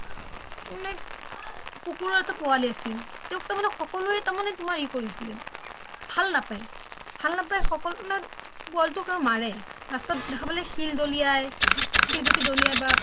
তাৰ মানে কুকুৰৰ এটা পোৱালি আছিল তেওঁক তাৰ মানে সকেলোৱে ই কৰিছিলে ভাল নাপায়, ভাল নাপায় আৰু সকোলোৱে মাৰে ৰাস্তাত দেখা পালে শিল দলিয়াই শিল গুটি দলিয়াই বা